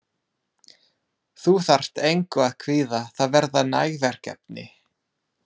Þú þarft engu að kvíða, það verða næg verkefni.